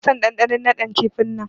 Bana son dandanon nadin kifi'n nan.